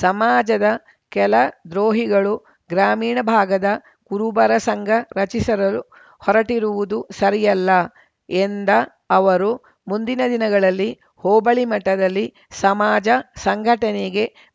ಸಮಾಜದ ಕೆಲ ದ್ರೋಹಿಗಳು ಗ್ರಾಮೀಣ ಭಾಗದ ಕುರುಬರ ಸಂಘ ರಚಿಸರರು ಹೊರಟಿರುವುದು ಸರಿಯಲ್ಲ ಎಂದ ಅವರು ಮುಂದಿನ ದಿನಗಳಲ್ಲಿ ಹೋಬಳಿ ಮಟ್ಟದಲ್ಲಿ ಸಮಾಜ ಸಂಘಟನೆ